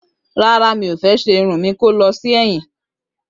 Rárá, mi o fe sé irun mi kó lọ sí èyìn